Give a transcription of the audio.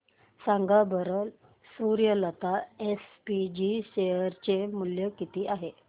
सांगा बरं Suryalata SPG share चे मूल्य किती आहे